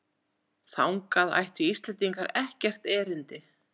Þangað ættu Íslendingar ekkert erindi